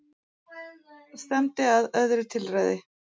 Stefndi að öðru tilræði